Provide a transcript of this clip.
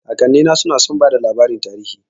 Kakannina suna son bada labarin tarihi